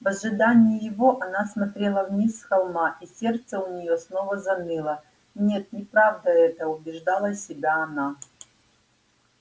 в ожидании его она смотрела вниз с холма и сердце у неё снова заныло нет неправда это убеждала себя она